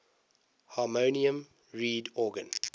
harmonium reed organ